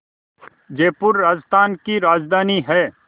जयपुर राजस्थान की राजधानी है